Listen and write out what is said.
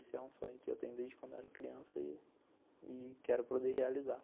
Esse é um sonho que eu tenho desde quando eu era criança e quero quero poder realizar.